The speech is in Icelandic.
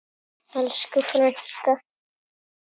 Elsku frænka!